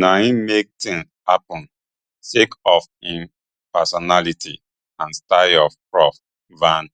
na im make tins happun sake of im personality and style prof van